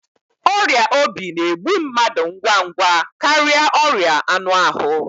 ọrịa obi na-egbu mmadụ ngwa ngwa karịa ọrịa anụ ahụ